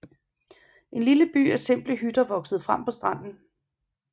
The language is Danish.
En lille by af simple hytter voksede frem på stranden